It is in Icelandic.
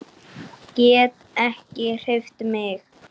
Get ekki hreyft mig.